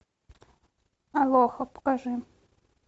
алоха покажи